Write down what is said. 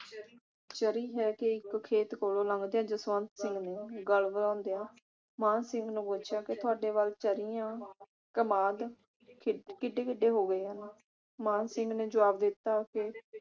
ਚਰੀ ਹੈ ਕਿ ਇਕ ਖੇਤ ਦੇ ਕੋਲੋ ਲੰਘਦਿਆਂ ਜਸਵੰਤ ਸਿੰਘ ਨੇ ਗੱਲ ਮਾਨ ਸਿੰਘ ਨੂੰ ਪੁੱਛਿਆ ਤੁਹਾਡੇ ਵੱਲ ਚਰੀਆਂ ਕਮਾਦ ਕਿ ਕਿਡੇ ਕਿਡੇ ਹੋ ਗਏ ਆ । ਮਾਨ ਸਿੰਘ ਨੇ ਜਵਾਬ ਦਿੱਤਾ ਕਿ